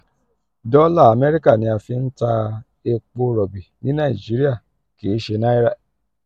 dola amerika ni a fi n ta epo robi ni naijiria kii ṣe naira.